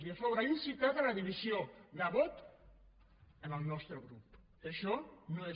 i a sobre ha incitat la divisió de vot en el nostre grup que això no és